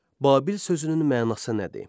Babil sözünün mənası nədir?